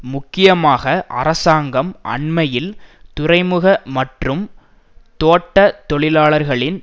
முக்கியமாக அரசாங்கம் அண்மையில் துறைமுக மற்றும் தோட்ட தொழிலாளர்களின்